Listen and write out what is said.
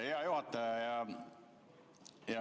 Hea juhataja!